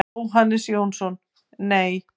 Jóhannes Jónsson: Nei.